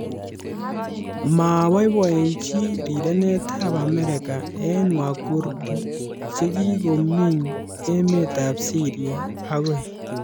Maaboiboichi rirenetab Amerika eng Wakurdi chekikominy emetab Syria agoi.